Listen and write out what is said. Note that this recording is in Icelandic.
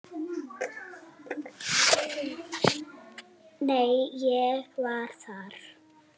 Nei, ég var þar